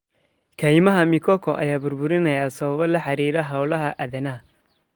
Kaymaha mikoko ayaa burburinaya sababo la xiriira hawlaha aadanaha.